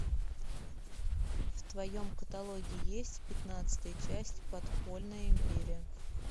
в твоем каталоге есть пятнадцатая часть подпольная империя